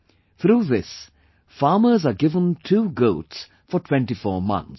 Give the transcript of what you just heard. Through this, farmers are given two goats for 24 months